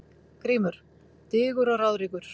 GRÍMUR: Digur og ráðríkur